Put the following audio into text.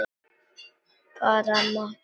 Ég bara mátti það!